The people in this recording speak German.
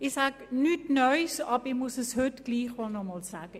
Ich sage nichts Neues, aber ich muss es heute trotzdem noch einmal sagen.